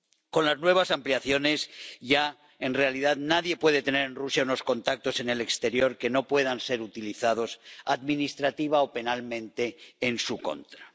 Con las nuevas ampliaciones ya, en realidad, nadie puede tener en Rusia unos contactos en el exterior que no puedan ser utilizados administrativa o penalmente en su contra.